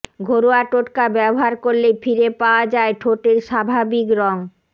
ঘরোয়া টোটকা ব্যবহার করলেই ফিরে পাওয়া যায় ঠোঁটের স্বাভাবিক রং